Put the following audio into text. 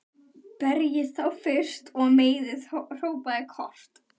Berjið þá fyrst og meiðið, hrópaði Kort.